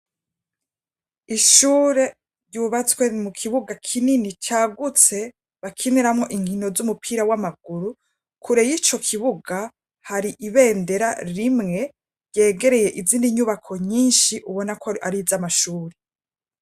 Ishure ryubatswe mukibuga kinini cagutse bakiniramwo inkino z'umupira w'amaguru kure y'icokibuga hari ibendera rimwe ryegereye izindi nyubako nyinshi ubona ko ariz'amashure.